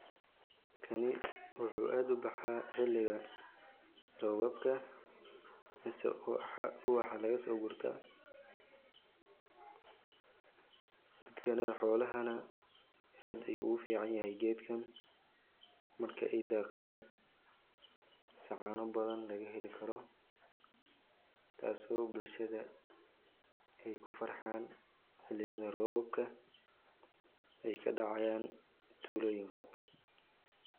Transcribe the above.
Kani wuxuu aad ubaxaa xiliga robabka mise ubaxa lagaso gurta, kani xoolaha na aad ayu ogu fican yahay gedkan marka ay daaqan se caano badan laga heli karo, taaso bulshada ay kufarxan xiliyada robka ay kadhacayan tulooyinka